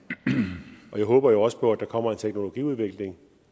og jeg håber jo også på at der kommer en teknologiudvikling